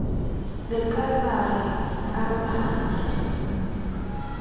le ka la re arohanyang